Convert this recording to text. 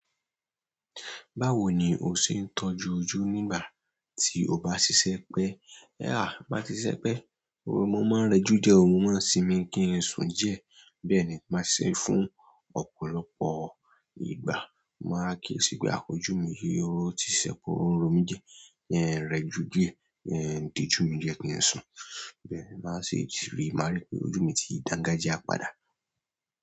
Báwo ni o ṣe ń tọ́jú ojú nígbà tí o bá ṣiṣẹ́ pẹ́? Tin ba ti ṣiṣẹ́ pé mo máa ń rejú díẹ̀, mó máa ń sìnmi kí n sùn díẹ̀. Bẹ́ẹ̀ ni màá ṣe fún ọ̀pọ̀lọpọ̀ ìgbà. Màá gé si pe àhh ójú mi yìí o ti sẹpo oun ro mí diẹ. Ki n rẹjú díẹ̀, ki ń diju mi díẹ̀ kí n sùn. Bẹ́ẹ̀ máà ṣe rí mári pé ojú mi ti dangajia padà.